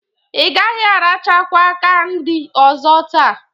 Ị gaghị arachakwa kandị ọzọ taa.